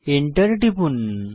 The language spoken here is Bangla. এন্টার টিপুন